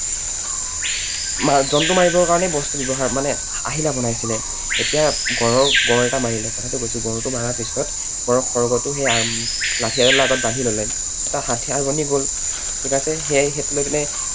জন্তু মাৰিবৰ কাৰণে বস্তু ব্যৱহাৰ মানে আহিলা বনাইছিলে। এতিয়া গঁড়ৰ, গঁড় এটা মাৰিলে, কথাটো কৈছো, গঁড়টো মৰাৰ পিছত গঁড়ৰ খড়গটো লাঠি এডালৰ আগত বান্ধি ললে, এটা হাথিয়াৰ বনি গল, ঠিক আছে? সেইটো লৈ পিনে